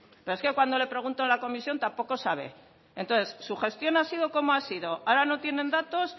pero es cuando le pregunto en la comisión tampoco sabe entonces su gestión ha sido cómo ha sido ahora no tienen datos